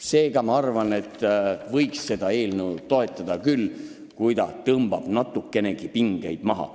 Seega ma arvan, et võiks seda eelnõu toetada küll, kui see tõmbab natukenegi pingeid maha.